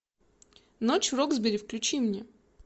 ночь в роксбери включи мне